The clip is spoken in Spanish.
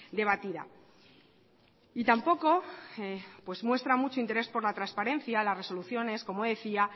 debatida y tampoco muestra mucho interés por la transparencia las resoluciones como decía